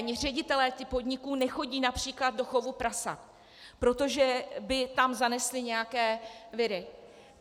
Ani ředitelé těch podniků nechodí například do chovu prasat, protože by tam zanesli nějaké viry.